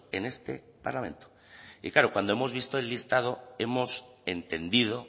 en este parlamento y claro cuando hemos visto el listado hemos entendido